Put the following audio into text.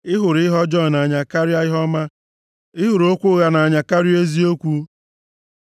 Ị hụrụ ihe ọjọọ nʼanya karịa ihe ọma, ị hụrụ okwu ụgha nʼanya karịa eziokwu. Sela